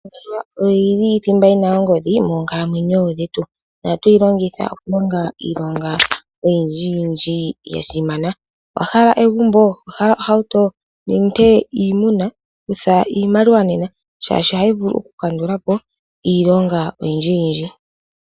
Iimaliwa oyo yili thimba yina ongodhi moonkalamwenyo dhetu. Ohatu yi longitha okulonga iilonga oyindji yindji ya simana. Owa hala egumbo, owa hala ohauto, nenge iimuna? Kutha iimaliwa nena shaashi ohayi vulu oku kandula po iilonga oyindji yindji.